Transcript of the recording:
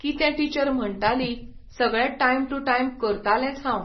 कितें टिचर म्हणटाली, सगळें टायम टू टायम करतालेंच हांव.